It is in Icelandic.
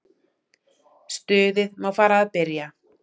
Stuðið má fara að byrja.